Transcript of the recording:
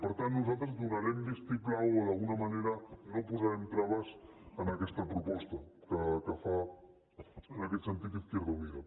per tant nosaltres donarem el vistiplau o d’alguna manera no posarem traves a aquesta proposta que fa en aquest sentit izquierda unida